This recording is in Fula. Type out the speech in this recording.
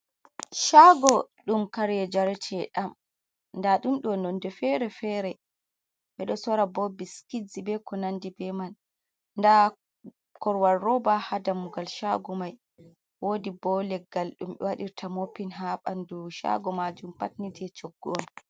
Shaago dum kare jarete dam da dumdo nonde fere-fere bedo sora bo biskit be ko nandi be man da korwal roba ha damugal shago mai wodi bo leggal dum e wadirta moppin ha bandu shaago maajum pat nite coggo on.